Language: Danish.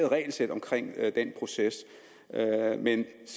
regelsæt omkring den proces men